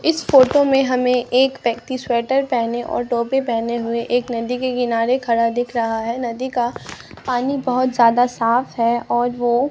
इस फोटो में हमें एक व्यक्ति स्वेटर पहने और टोपी पहने हुए एक नदी के किनारे खड़ा दिख रहा है नदी का पानी बहोत ज्यादा साफ है और वो--